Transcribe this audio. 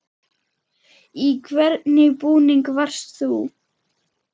Í hvernig búningi varst þú?